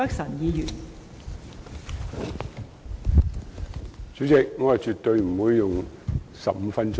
代理主席，我絕對不會用上15分鐘發言。